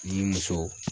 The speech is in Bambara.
Ni muso